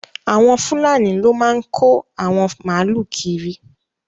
Awọn Fùlànì ló máa n kò awọn máàlú kírì